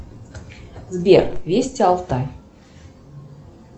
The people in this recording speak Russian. сбер вести алтай